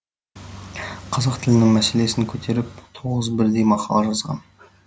қазақ тілінің мәселесін көтеріп тоғыз бірдей мақала жазған